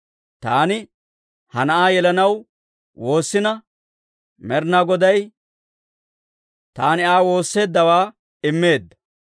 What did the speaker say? Taani ha na'aa yelanaw woossina, Med'inaa Goday taani Aa woosseeddawaa immeedda.